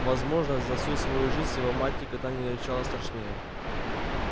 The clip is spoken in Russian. возможно за всю свою жизнь его мать никогда не рычала страшнее